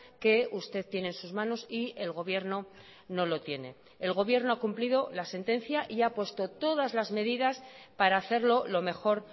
que usted tiene en sus manos y el gobierno no lo tiene el gobierno ha cumplido la sentencia y ha puesto todas las medidas para hacerlo lo mejor